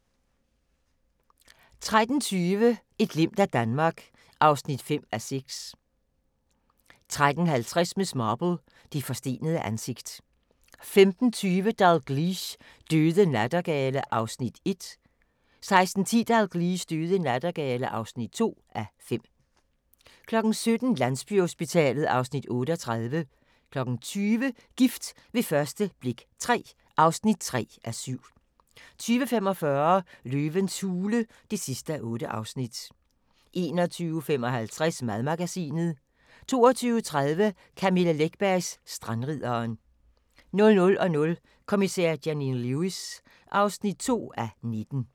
13:20: Et glimt af Danmark (5:6) 13:50: Miss Marple: Det forstenede ansigt 15:20: Dalgliesh: Døde nattergale (1:5) 16:10: Dalgliesh: Døde nattergale (2:5) 17:00: Landsbyhospitalet (Afs. 38) 20:00: Gift ved første blik III (3:7) 20:45: Løvens hule (8:8) 21:55: Madmagasinet 22:30: Camilla Läckbergs Strandridderen 00:00: Kommissær Janine Lewis (2:19)